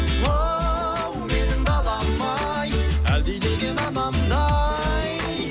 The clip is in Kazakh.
оу менің далам ай әлдилеген анамдай